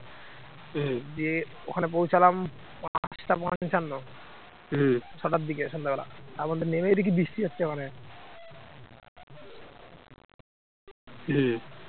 হম